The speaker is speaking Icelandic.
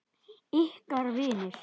Ykkar vinir.